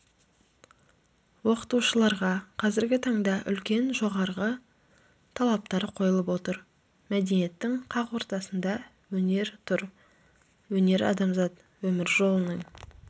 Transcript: оқытушыларға қазіргі таңда үлкен жоғарғы талаптар қойылып отыр мәдениеттің қақ ортасында өнер тұр өнер-адамзат өмір жолының